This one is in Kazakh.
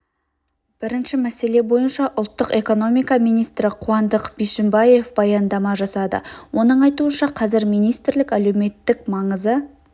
бірінші мәселе бойынша ұлттық экономика министрі қуандық бишімбаев баяндама жасады оның айтуынша қазір министрлік әлеуметтік маңызы